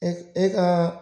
E e ka